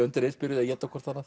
undir eins byrjuð að éta hvert annað